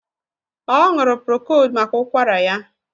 Ọ ṅụrụ prokóld maka ụkwara ya